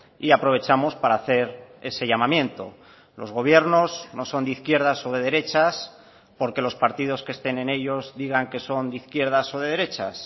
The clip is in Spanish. y aprovechamos para hacer ese llamamiento los gobiernos no son de izquierdas o de derechas porque los partidos que estén en ellos digan que son de izquierdas o de derechas